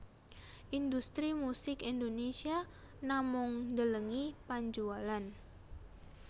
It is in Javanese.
Industri musik Indonésia namung ndelengi panjualan